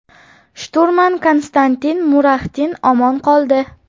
Shturman Konstantin Muraxtin omon qoldi.